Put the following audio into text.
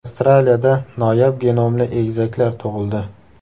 Avstraliyada noyob genomli egizaklar tug‘ildi.